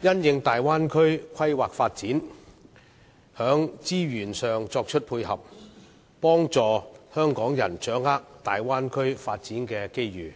並因應大灣區的規劃發展，在資源上作出配合，幫助香港人掌握大灣區的發展機遇。